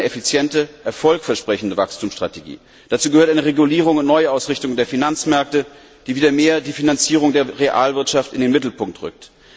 Dazu gehört eine effiziente, erfolgsversprechende Wachstumsstrategie. Dazu gehört eine Regulierung und Neuausrichtung der Finanzmärkte, die die Finanzierung der Realwirtschaft wieder stärker in den Mittelpunkt rückt.